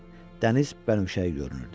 Dəniz bənövşəyi görünürdü.